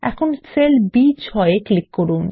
এখন cell B6 এ click করুন